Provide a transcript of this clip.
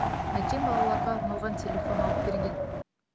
әкем балаларға арналған телефон алып берген